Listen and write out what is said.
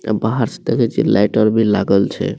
अ बाहर से देखई छी लाइट आर भी लागल छे।